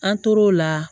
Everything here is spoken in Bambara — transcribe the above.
An tor'o la